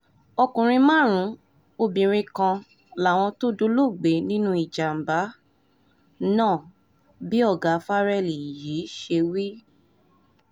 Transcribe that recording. ọkùnrin márùn-ún obìnrin kan làwọn tó dolóògbé nínú ìjàm̀bá nínú ìjàm̀bá náà bí ọ̀gá farrell yìí ṣe wí